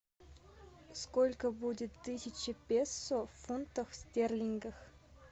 сколько будет тысяча песо в фунтах стерлингах